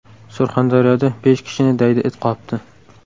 Surxondaryoda besh kishini daydi it qopdi.